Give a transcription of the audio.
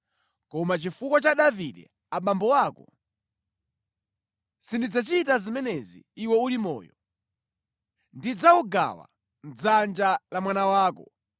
Koma chifukwa cha Davide abambo ako, sindidzachita zimenezi iwe uli moyo. Ndidzawugawa mʼdzanja la mwana wako.